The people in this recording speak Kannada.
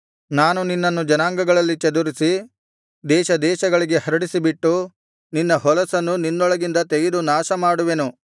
ನಾನು ನಿನ್ನನ್ನು ಜನಾಂಗಗಳಲ್ಲಿ ಚದುರಿಸಿ ದೇಶ ದೇಶಗಳಿಗೆ ಹರಡಿಸಿಬಿಟ್ಟು ನಿನ್ನ ಹೊಲಸನ್ನು ನಿನ್ನೊಳಗಿಂದ ತೆಗೆದು ನಾಶಮಾಡುವೆನು